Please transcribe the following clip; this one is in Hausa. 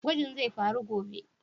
Gwajin zai faru gobe?